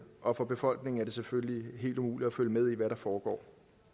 og for befolkningen er det selvfølgelig helt umuligt at følge med i hvad der foregår